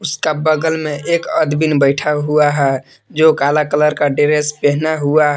इसका बगल में एक अदबिन बैठा हुआ है जो काला कलर का ड्रेस पहना हुआ है।